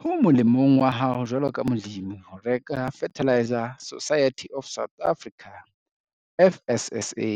Ho molemong wa hao jwalo ka molemi ho reka Fertiliser Society of South Africa, FSSA,